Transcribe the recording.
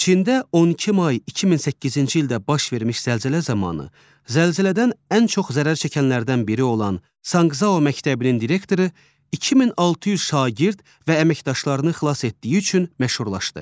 Çində 12 may 2008-ci ildə baş vermiş zəlzələ zamanı, zəlzələdən ən çox zərər çəkənlərdən biri olan Sankşiao məktəbinin direktoru 2600 şagird və əməkdaşlarını xilas etdiyi üçün məşhurlaşdı.